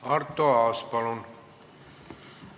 Arto Aas, palun!